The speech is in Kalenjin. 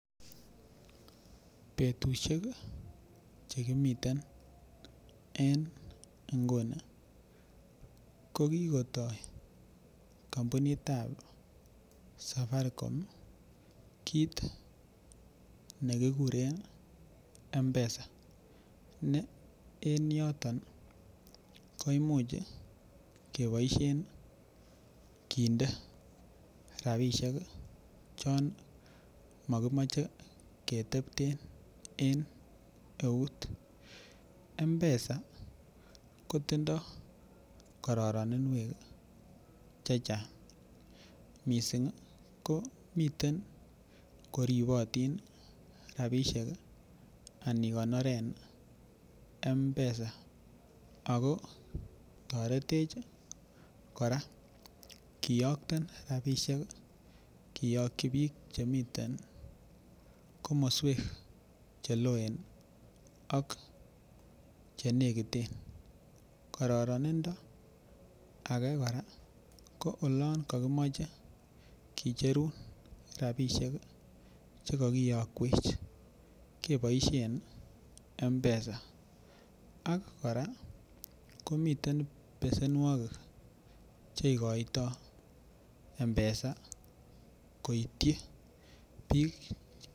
Betushek chekimiten eng nguni ko kikotai kampunit ap saparikom kiit nekikureen mpesa yotok kindai rapisheek yanitet sikotaret eng konereet ap rapisheek ako taritech kora kiyaktee rapisheek koitchii piik cheloeeen ak koraa yakimachee koitweech rapisheek eng chakchineet kebaisheen mpesa